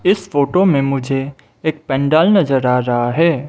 इस फोटो में मुझे एक पेंडाल नजर आ रहा है।